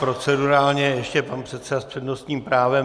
Procedurálně ještě pan předseda s přednostním právem.